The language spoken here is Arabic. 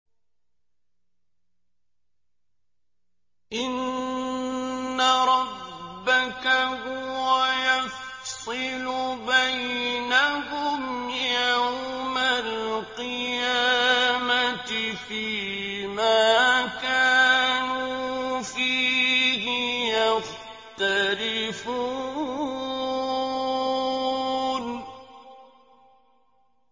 إِنَّ رَبَّكَ هُوَ يَفْصِلُ بَيْنَهُمْ يَوْمَ الْقِيَامَةِ فِيمَا كَانُوا فِيهِ يَخْتَلِفُونَ